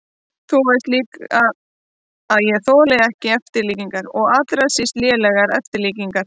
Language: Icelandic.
Þú veist líka að ég þoli ekki eftirlíkingar og allra síst lélegar eftirlíkingar.